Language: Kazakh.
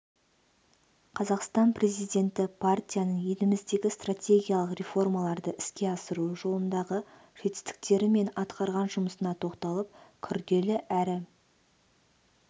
қазақстан президенті партияның еліміздегі стратегиялық реформаларды іске асыру жолындағы жетістіктері мен атқарған жұмысына тоқталып күрделі әрі